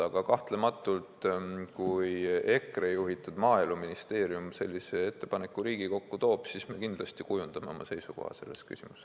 Aga kahtlematult, kui EKRE juhitud Maaeluministeerium sellise ettepaneku Riigikokku toob, siis me kindlasti kujundame oma seisukoha selles küsimuses.